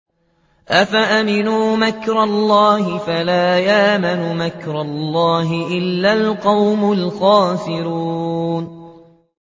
أَفَأَمِنُوا مَكْرَ اللَّهِ ۚ فَلَا يَأْمَنُ مَكْرَ اللَّهِ إِلَّا الْقَوْمُ الْخَاسِرُونَ